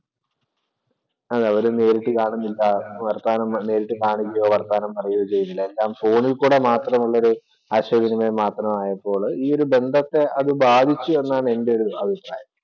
അത് അവര് നേരിട്ട് കാണുന്നില്ല. വര്‍ത്താനം നേരിട്ട് കാണുകയോ, വര്‍ത്താനം പറയുകയോ ചെയ്യുന്നില്ല. എല്ലാം ഫോണില്‍ കൂടെ മാത്രം ഉള്ളൊരു ആശയവിനിമയം മാത്രമായപ്പോൾ ഈയൊരു ബന്ധത്തെ അത് ബാധിച്ചു എന്നാണ് എന്‍റെ ഒരു അഭിപ്രായം.